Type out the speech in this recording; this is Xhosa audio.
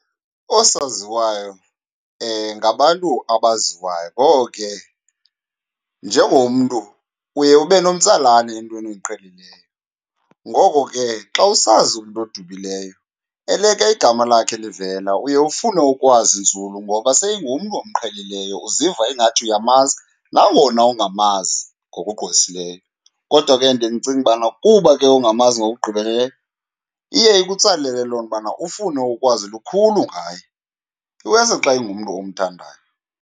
Oosaziwayo ngabantu abaziwayo. Ngoko ke, njengomntu uye ube nomtsalane entweni oyiqhelileyo, ngoko ke xa usazi umntu odumileyo eleke igama lakhe livela uye ufune ukwazi nzulu ngoba seyingumntu omqhelileyo, uziva ingathi uyamazi nangona ungamazi ngokugqwesileyo. Kodwa ke ndiye ndicinge ubana kuba ke ungamazi ngokugqibeleleyo iye ikutsalele loo nto ubana ufune ukwazi lukhulu ngaye, iwesi xa ingumntu omthandayo.